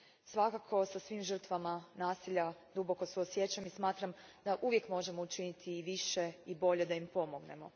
Svakako sa svim žrtvama nasilja duboko suosjećam i smatram da uvijek možemo učiniti više i bolje da im pomognemo.